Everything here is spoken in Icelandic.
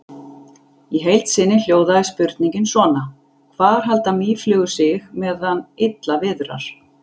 Í heild sinni hljóðaði spurningin svona: Hvar halda mýflugur sig meðan illa viðrar?